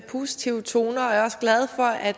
positive toner er også glad for at